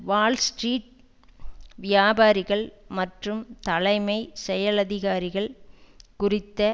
Wall Street வியாபாரிகள் மற்றும் தலைமை செயலதிகாரிகள் குறித்து